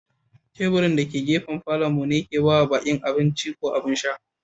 Taburin da ke gafe a Falo'n mu ne Nike ba ma baki abinci ko abin sha.